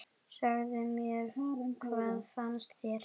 Segðu mér, hvað finnst þér?